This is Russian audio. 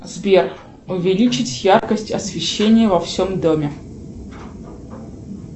сбер увеличить яркость освещения во всем доме